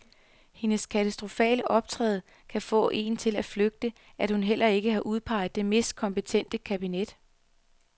Hendes katastrofale optræden kan få en til at frygte, at hun heller ikke har udpeget det mest kompetente kabinet.